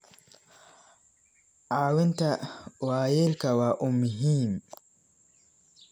Caawinta waayeelka waa muhiim.